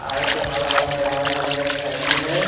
आए तो हवाई जहाज हइजा खड़ी है।